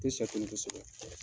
tɛ kosɛbɛ.